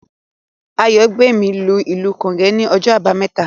Àyàngbèmí lu ìlù Gòge ní ọjọ́ àbámẹ́ta